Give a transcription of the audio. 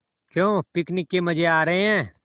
क्यों पिकनिक के मज़े आ रहे हैं